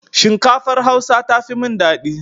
Shinkafar Hausa tafi min dadi.